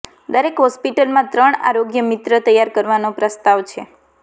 દરેક હોસ્પિટલમાં ત્રણ આરોગ્ય મિત્ર તૈયાર કરવાનો પ્રસ્તાવ છે